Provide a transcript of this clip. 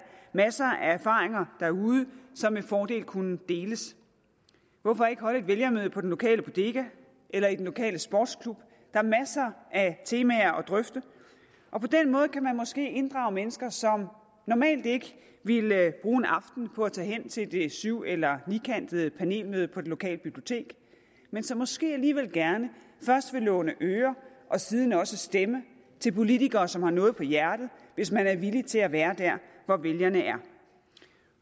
masser af erfaringer derude som med fordel kunne deles hvorfor ikke holde et vælgermøde på den lokale bodega eller i den lokale sportsklub der er masser af temaer at drøfte og på den måde kan man måske inddrage mennesker som normalt ikke ville bruge en aften på at tage hen til det syv eller nikantede panelmøde på det lokale bibliotek men som måske alligevel gerne først vil låne øre og siden også stemme til politikere som har noget på hjerte hvis man er villig til at være der hvor vælgerne er